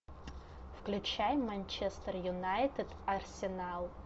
включай манчестер юнайтед арсенал